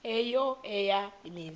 eyo eya mizi